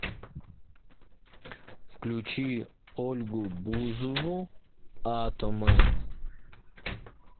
включи ольгу бузову атомы